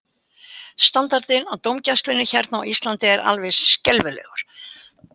Standardinn á dómgæslunni hérna á Íslandi er alveg skelfilegur.